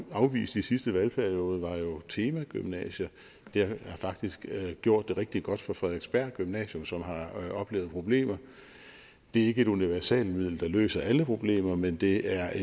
afvist i sidste valgperiode var jo temagymnasier det har faktisk gjort det rigtig godt for frederiksberg gymnasium som har oplevet problemer det er ikke et universalmiddel der løser alle problemer men det er